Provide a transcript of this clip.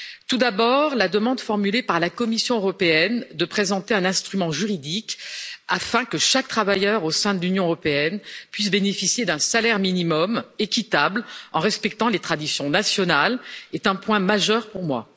Tout d'abord, la demande formulée par la Commission européenne de présenter un instrument juridique afin que chaque travailleur au sein de l'Union européenne puisse bénéficier d'un salaire minimum équitable, en respectant les traditions nationales, est un point majeur pour moi.